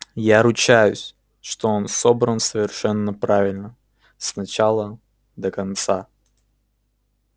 я ручаюсь что он собран совершенно правильно с начала до конца